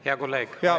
Hea kolleeg!